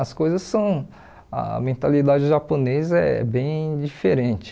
As coisas são... a mentalidade japonesa é bem diferente.